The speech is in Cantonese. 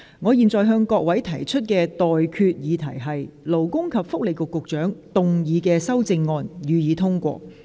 我現在向各位提出的待決議題是：勞工及福利局局長動議的修正案，予以通過。